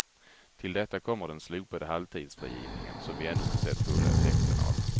Till detta kommer den slopade halvtidsfrigivningen som vi ännu inte sett fulla effekten av.